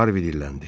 Harvi dilləndi.